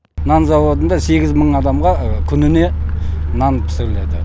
нан зауытында сегіз мың адамға күніне нан пісіріледі